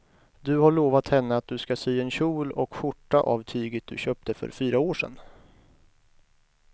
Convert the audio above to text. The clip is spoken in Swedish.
Du har lovat henne att du ska sy en kjol och skjorta av tyget du köpte för fyra år sedan.